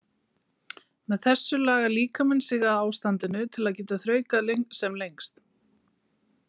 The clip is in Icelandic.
Með þessu lagar líkaminn sig að ástandinu til að geta þraukað sem lengst.